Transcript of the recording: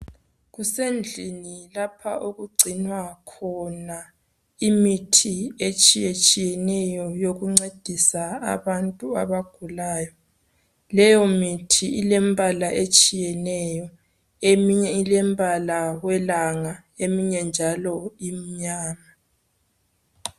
Kusendlini lapho okugcinwa khona imithi etshiyetshiyeneyo yokuncedisa abantu abagulayo, leyo mithi ilembala etshiyeneyo, eminye ilembala yelanga eminye njalo imibala imnyama.